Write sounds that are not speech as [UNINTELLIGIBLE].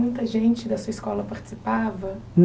Muita gente da sua escola participava? [UNINTELLIGIBLE]